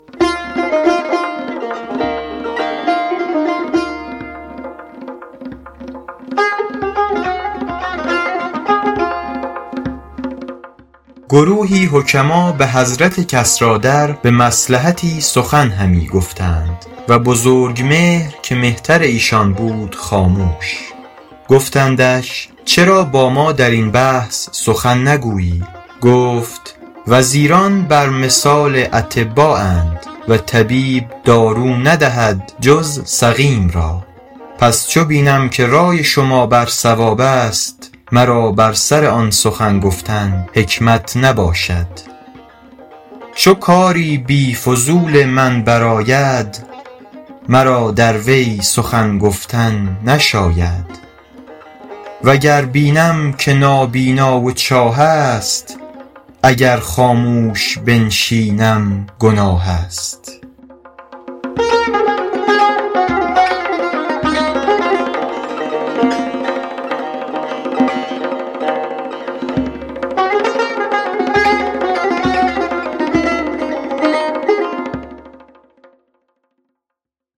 گروهی حکما به حضرت کسریٰ در به مصلحتی سخن همی گفتند و بزرگمهر که مهتر ایشان بود خاموش گفتندش چرا با ما در این بحث سخن نگویی گفت وزیران بر مثال اطبااند و طبیب دارو ندهد جز سقیم را پس چو بینم که رای شما بر صواب است مرا بر سر آن سخن گفتن حکمت نباشد چو کاری بی فضول من بر آید مرا در وی سخن گفتن نشاید و گر بینم که نابینا و چاه است اگر خاموش بنشینم گناه است